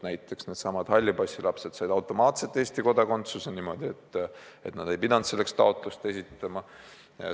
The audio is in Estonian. Näiteks needsamad nn hallipassilapsed said automaatselt Eesti kodakondsuse, nad ei pidanud selleks taotlust esitama.